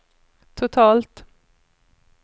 totalt